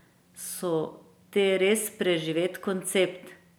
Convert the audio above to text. So te res preživet koncept?